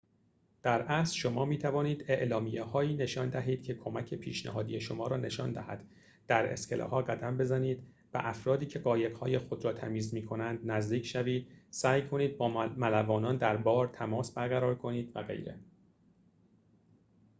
در اصل شما می‌توانید اعلامیه‌هایی نشان دهید که کمک پیشنهادی شما را نشان دهد در اسکله‌ها قدم بزنید به افرادی که قایق‌های خود را تمیز می‌کنند نزدیک شوید سعی کنید با ملوانان در بار تماس برقرار کنید و غیره